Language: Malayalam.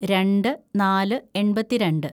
രണ്ട് നാല് എണ്‍പത്തിരണ്ട്‌